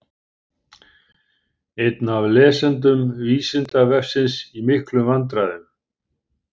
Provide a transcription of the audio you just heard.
Einn af lesendum Vísindavefsins í miklum vandræðum!